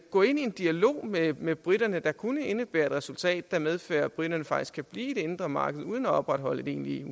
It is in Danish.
gå ind i en dialog med med briterne der kunne indebære et resultat der medfører at briterne faktisk kan blive i det indre marked uden at opretholde et egentligt